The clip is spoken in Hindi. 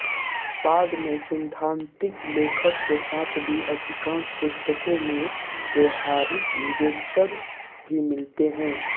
बाद में सैद्धान्तिक लेखन के साथ भी अधिकांश पुस्तकों में व्यावहारिक विवेचन भी मिलते हैं